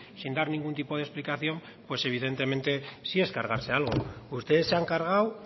sin dar ningún tipo de explicación pues evidentemente sí es cargarse algo ustedes se han cargado